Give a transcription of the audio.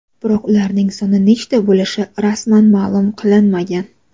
Biroq ularning soni nechta bo‘lishi rasman ma’lum qilinmagan.